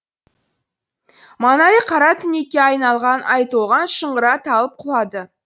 маңайы қара түнекке айналған айтолған шыңғыра талып құлады